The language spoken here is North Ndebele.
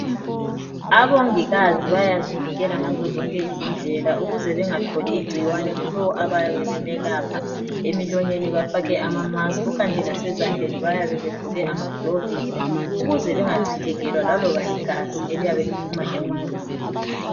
Abongikazi bayazivikela ngazo zonke indlela ukuze bengatholi ingcikwane kulowo abayabe bemelapha emlonyeni befake amamaski ikanti lasezandleni bayabe begqoke amaglovisi ukuze bengacithekela laloba ligazi eliyabe liphuma emuntwini.